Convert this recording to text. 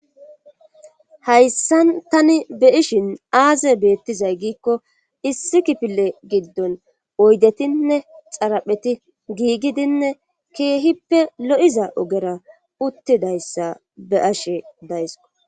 hayssan tani be ishin aaze beettizay giikko issi kipile giddon oydetinne xarapheti giigidinne keehippe lo7iza ogera uttidayssa be ashe daysiko